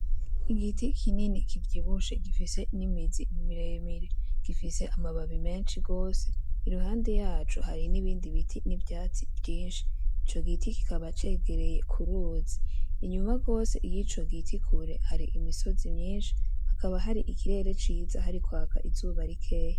Igiti kinini kivyibushye gifise n'imizi miremire gifise amababi menshi gose. Iruhande yaco hari n'ibindi biti n'ivyatsi vyinshi. Ico giti kikaba cegereye ku ruzi. Inyuma gose y'ico giti kure hari imisozi myinshi hakaba hari ikirere ciza hari kwaka izuba rikeye.